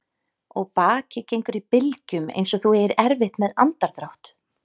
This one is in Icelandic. Og bakið gengur í bylgjum einsog þú eigir erfitt með andardrátt.